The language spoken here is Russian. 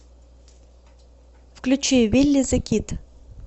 включи вилли зе кид